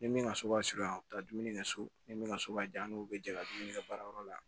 Ni min ka so b'a surunya dumuni kɛ so ni min ka so b'a jan n'o bɛ jɛ ka dumuni kɛ baarayɔrɔ la